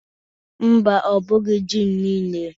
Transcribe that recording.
Mba, ọ bụghi ji m niile.